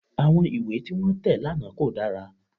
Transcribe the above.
Àwọn ìwé tí wọ́n tẹ̀ lánàá kò dára